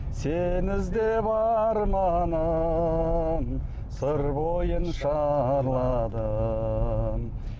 сені іздеп арманым сыр бойын шарладым